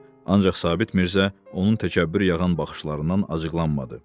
Ancaq Sabit Mirzə onun təkəbbür yağan baxışlarından acıqlanmadı.